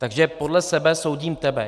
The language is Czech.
Takže podle sebe soudím tebe.